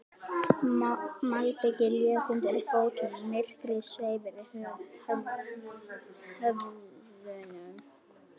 Malbikið lék undir fótunum, myrkrið sveif yfir höfðunum.